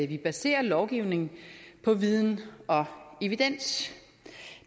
vi baserer lovgivning på viden og evidens